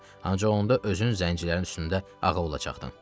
Ancaq onda özün zəncirlərin üstündə ağa olacaqdın.